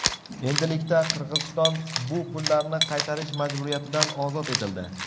Endilikda Qirg‘iziston bu pullarni qaytarish majburiyatidan ozod etildi.